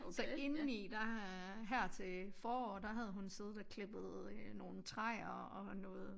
Så inden der har her til foråret der havde hun siddet og klippet øh nogen træer og noget